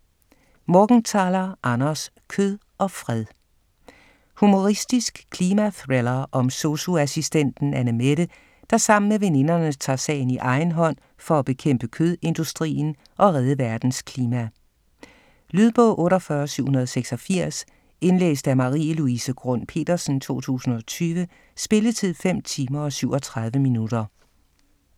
Morgenthaler, Anders: Kød og fred Humoristisk klimathriller om sosu-assistenten Annemette, der sammen med veninderne tager sagen i egen hånd for at bekæmpe kødindustrien og redde verdens klima. Lydbog 48786 Indlæst af Marie-Louise Grund Petersen, 2020. Spilletid: 5 timer, 37 minutter.